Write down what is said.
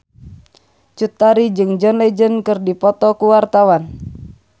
Cut Tari jeung John Legend keur dipoto ku wartawan